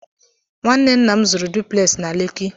Nwanne nna m zụrụ dupleksị na Lekki.